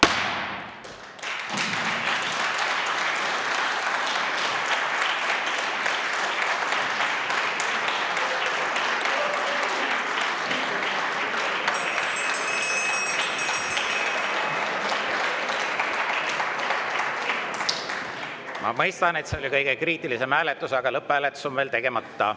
Ma mõistan, et see oli kõige kriitilisem hääletus, aga lõpphääletus on veel tegemata.